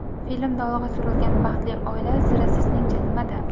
Filmda olg‘a surilgan baxtli oila siri sizningcha nimada?